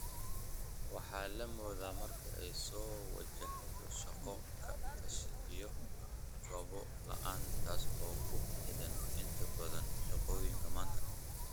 Waxa la moodaa marka ay soo wajahdo shaqo-ka-tashi iyo gabbo-la�aan taas oo ku xidhan inta badan shaqooyinka maanta.